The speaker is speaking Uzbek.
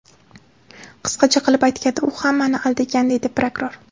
Qisqacha qilib aytganda, u hammani aldagan”, deydi prokuror.